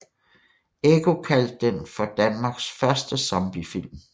Ekko kaldte den for Danmarks første zombiefilm